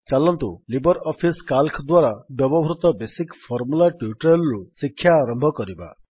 ଚାଲନ୍ତୁ Libre office ସିଏଏଲସି ଦ୍ୱାରା ବ୍ୟବହୃତ ବେସିକ୍ ଫର୍ମୁଲା ଟ୍ୟୁଟୋରିଆଲ୍ ରୁ ଶିକ୍ଷା ଆରମ୍ଭ କରିବା